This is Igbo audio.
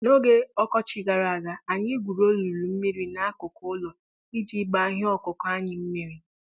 N'oge ọkọchị gara aga, anyị gwuru olulu mmiri n'akụkụ ụlọ iji gbaa ihe ọkụkụ anyị mmiri.